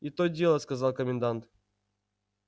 и то дело сказал комендант